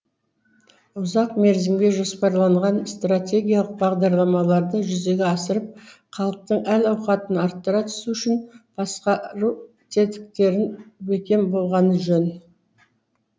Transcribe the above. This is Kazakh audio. ұзақ мерзімге жоспарланған стратегиялық бағдарламаларды жүзеге асырып халықтың әл ауқатын арттыра түсу үшін басқару тетіктері бекем болғаны жөн